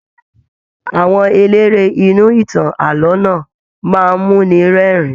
Àwọn eléré inú ìtàn ààlọ́ náà máa n muni rẹ́rìn.